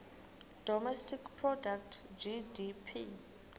domestic product gdp